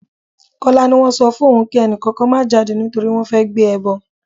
Kọ́lá ni wọ́n sọ fún òun kí ẹni kankan má jáde nítorí pé wọ́n fẹ́ gbé ẹbọ.